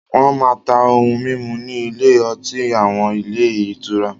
Wọ́n máa ń ta ohun mímu ní ilé-ọtí àwọn ilé-ìtura.